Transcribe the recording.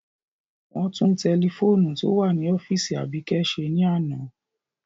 Wọn tun tẹlifoonu to wa ni ọfiisi Abike ṣe ni ana.